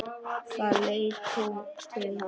Þá leit hún til hans.